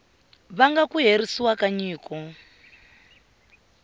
vanga ku herisiwa ka nyiko